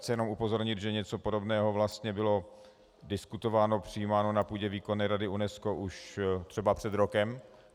Chci jenom upozornit, že něco podobného vlastně bylo diskutováno, přijímáno na půdě Výkonné rady UNESCO už třeba před rokem.